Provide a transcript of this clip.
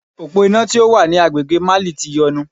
Òpó iná tó wà ní agbègbè Mali ti yọnu.